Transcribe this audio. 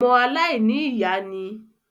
ọmọ “ aláìní ìyá” ni.